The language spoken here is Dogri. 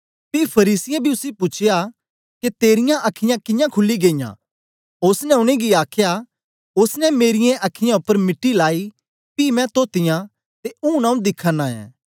पी फरीसियें बी उसी पूछया के तेरीयां अखीयाँ कियां खुली गेईयां ओसने उनेंगी आखया ओसने मेरीयें अखीयैं उपर मिट्टी लाई पी मैं तोतीयां ते ऊन आऊँ दिखा नां ऐं